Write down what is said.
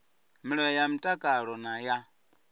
milayo ya mtakalo na ya